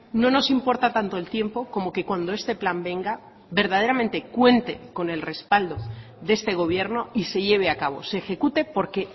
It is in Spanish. no nos importa tanto el tiempo como que cuando este plan venga verdaderamente cuente con el respaldo de este gobierno y se lleve a cabo se ejecute porque